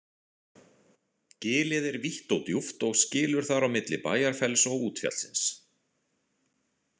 Gilið er vítt og djúpt og skilur þar á milli Bæjarfells og útfjallsins.